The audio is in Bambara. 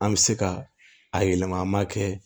An bɛ se ka a yɛlɛma kɛ